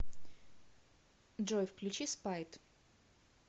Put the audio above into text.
джой включи спайт